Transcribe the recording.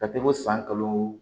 Ka se ko san kalo